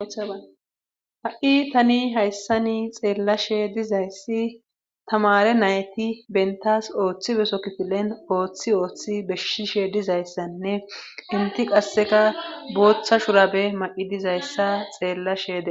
ha7i tani hayssani xeellashe dizayssi tamare nayti bentas ooththi beso kifilen ooththi ooththi beshshishe dizayssanne inti qasseka booththa shurabe ma7i dizayssa xeellashee